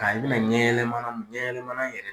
Ka i bi na ɲɛ yɛlɛmana m ɲɛ yɛlɛmana yɛrɛ